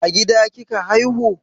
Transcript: A gida kika haihu?